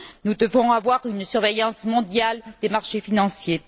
Nous devons avoir une surveillance mondiale des marchés financiers.